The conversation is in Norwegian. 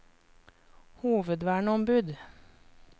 hovedverneombud